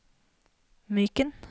Myken